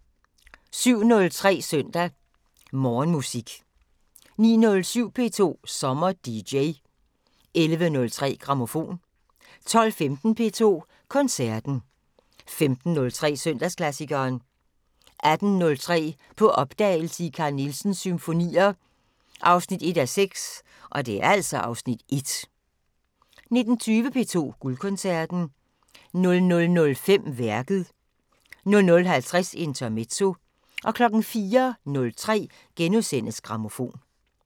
07:03: Søndag Morgenmusik 09:07: P2 SommerDJ 11:03: Grammofon 12:15: P2 Koncerten 15:03: Søndagsklassikeren 18:03: På opdagelse i Carl Nielsens symfonier 1:6 (Afs. 1) 19:20: P2 Guldkoncerten 00:05: Værket 00:50: Intermezzo 04:03: Grammofon *